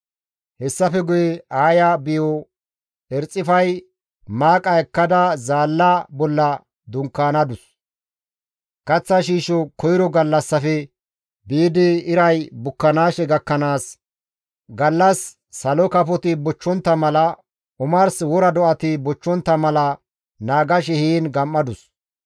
Hessafe guye Aaya biyo Erxifay maaqa ekkada zaalla bolla dunkaanadus; kaththa shiisho koyro gallassafe biidi iray bukkanaashe gakkanaas, gallas salo kafoti bochchontta mala, omars wora do7ati bochchontta mala naagashe heen gam7adus.